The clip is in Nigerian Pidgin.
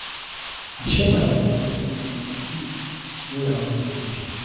i share my water wit my wit my friend wen her own finish